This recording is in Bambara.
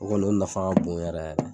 O kɔni o nafa ka bon yɛrɛ yɛrɛ.